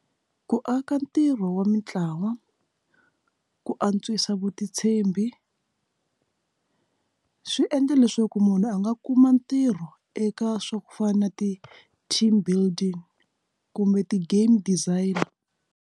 Ku aka ntirho wa mintlawa ku antswisa vutitshembi swi endle leswaku munhu a nga kuma ntirho eka swa ku fana na ti team building kumbe ti game designer.